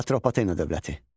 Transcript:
Atropatena dövləti.